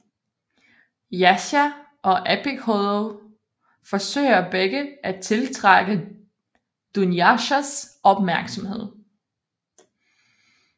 Jasja og Epikhodov forsøger begge at tiltrække Dunjashas opmærksomhed